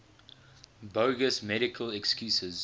bogus medical excuses